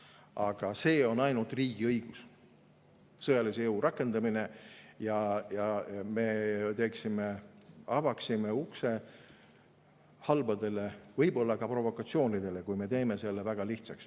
Aga see on ainult riigi õigus, sõjalise jõu rakendamine, ja me avaksime niimoodi ukse halbadele, võib-olla ka provokatsioonidele, kui me teeksime selle väga lihtsaks.